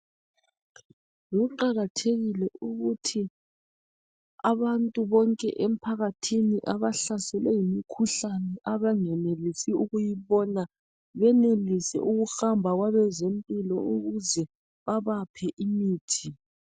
Kuqakathekile ukuthi abantu bonke emphakathini abahlaselwe yimikhuhlane abangenelisi ukuyibona benelise ukuhamba kwabezempilo ukuze babaphe imithi.